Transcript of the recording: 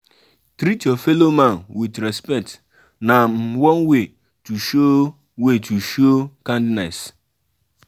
treat your fellow man with respect na um one way to show way to show kindness